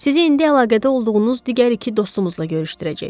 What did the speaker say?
Sizi indi əlaqədə olduğunuz digər iki dostumuzla görüşdürəcək.